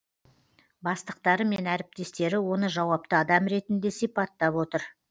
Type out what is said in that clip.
бастықтары мен әріптестері оны жауапты адам ретінде сипаттап отыр